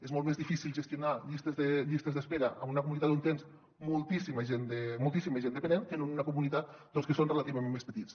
és molt més difícil gestionar llistes d’espera en una comu·nitat on tens moltíssima gent dependent que en una comunitat en que són relativa·ment més petites